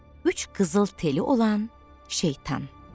Üç qızıl teli olan Şeytan.